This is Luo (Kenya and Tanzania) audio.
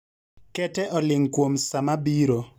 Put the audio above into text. Kete oling' kuom sa mabiro